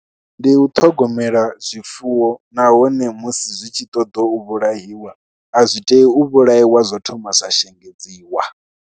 Ndi u ṱhogomela zwifuwo nahone musi zwi tshi ṱoḓa u vhulaiwa a zwi tei u vhulaiwa zwo thoma zwa shengedziwa.